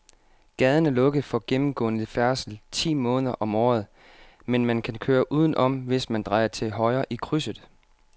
Gaden er lukket for gennemgående færdsel ti måneder om året, men man kan køre udenom, hvis man drejer til højre i krydset.